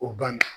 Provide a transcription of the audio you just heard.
O banna